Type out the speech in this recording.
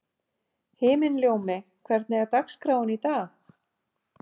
Himinljómi, hvernig er dagskráin í dag?